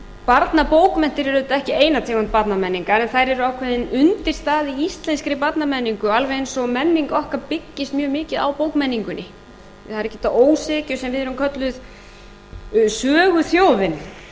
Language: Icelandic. barnabókmenntir eru auðvitað ekki eina tegund barnamenningar en þær eru ákveðin undirstaða í íslenskri barnamenningu alveg eins og menning okkar byggist mjög mikið á bókmenningunni það er ekki að ósekju sem við erum kölluð söguþjóðin og